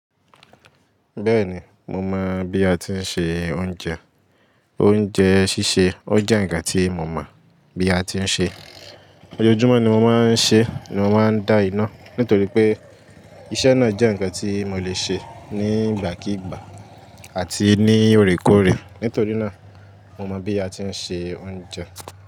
Bẹ́ẹ̀ni, mo mọ̀ bí a ti ń se oúnjẹ. Oúnjẹ sísè ó jẹ́ ǹkan tí mo mọ̀ bí a ti ń ṣe. Ojoojúmọ́ ni mo máa ń ṣe, ni mo máa ń dá iná. Nítorí pé iṣẹ́ náà jẹ́ ǹkan tí mo lè ṣe ní ìgbàkígbà àti ní òreékoòré. Nítorí náà mo mọ bí a ti ń ṣe oúnjẹ.